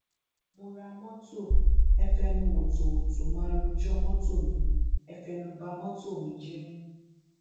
mo ra mọtò ẹ fẹnu wótòwótò màá rọjò mọtò mi ẹ fẹnu ba mọtò mi jẹ